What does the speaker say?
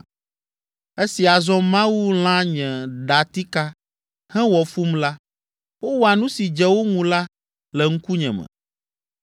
Esi azɔ Mawu lã nye datika, hewɔ fum la, wowɔa nu si dze wo ŋu la le ŋkunye me.